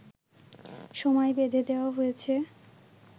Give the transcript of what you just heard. সময় বেঁধে দেওয়া হয়েছে